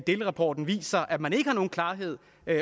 delrapporten viser at man ikke har nogen klarhed